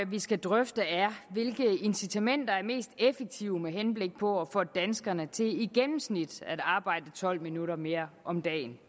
vi skal drøfte er hvilke incitamenter der er mest effektive med henblik på at få danskerne til i gennemsnit at arbejde tolv minutter mere om dagen